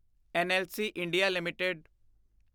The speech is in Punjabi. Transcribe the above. NLC India LTD